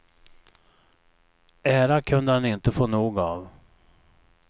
Ära kunde han inte få nog av.